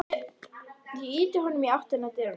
Ég ýti honum í áttina að dyrunum.